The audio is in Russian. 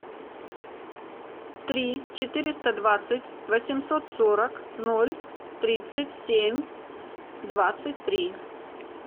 три четыреста двадцать восемьсот сорок ноль тридцать семь двадцать три